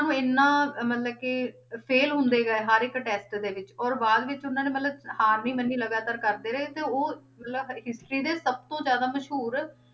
ਨੂੰ ਇੰਨਾ ਮਤਲਬ ਕਿ fail ਹੁੰਦੇ ਗਏ ਹਰ ਇੱਕ test ਦੇ ਵਿੱਚ ਔਰ ਬਾਅਦ ਵਿੱਚ ਉਹਨਾਂ ਨੇ ਮਤਲਬ ਹਾਰ ਨੀ ਮੰਨੀ ਲਗਾਤਾਰ ਕਰਦੇ ਰਹੇ, ਤੇ ਉਹ ਮਤਲਬ history ਦੇ ਸਭ ਤੋਂ ਜ਼ਿਆਦਾ ਮਸ਼ਹੂਰ